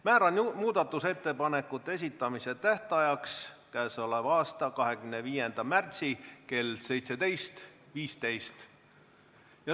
Määran muudatusettepanekute esitamise tähtajaks 25. märtsi kell 17.15.